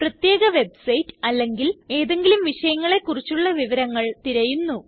പ്രത്യേക വെബ്സൈറ്റ് അല്ലെങ്കിൽ ഏതെങ്കിലും വിഷയങ്ങളെ കുറിച്ചുള്ള വിവരങ്ങൾ തിരയുന്നു